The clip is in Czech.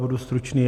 Budu stručný.